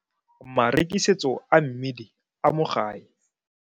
Marekisetso a mmidi a mo gae.